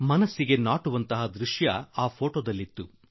ಮನ ಮುಟ್ಟುವಂತಹ ದೃಶ್ಯ ಆ ಚಿತ್ರದಲ್ಲಿತ್ತು